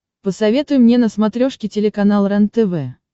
посоветуй мне на смотрешке телеканал рентв